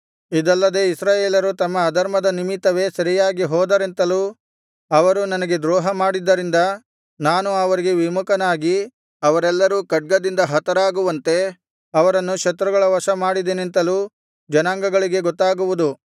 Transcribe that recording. ಇದಲ್ಲದೆ ಇಸ್ರಾಯೇಲರು ತಮ್ಮ ಅಧರ್ಮದ ನಿಮಿತ್ತವೇ ಸೆರೆಯಾಗಿ ಹೋದರೆಂತಲೂ ಅವರು ನನಗೆ ದ್ರೋಹಮಾಡಿದ್ದರಿಂದ ನಾನು ಅವರಿಗೆ ವಿಮುಖನಾಗಿ ಅವರೆಲ್ಲರೂ ಖಡ್ಗದಿಂದ ಹತರಾಗುವಂತೆ ಅವರನ್ನು ಶತ್ರುಗಳ ವಶ ಮಾಡಿದೆನೆಂತಲೂ ಜನಾಂಗಗಳಿಗೆ ಗೊತ್ತಾಗುವುದು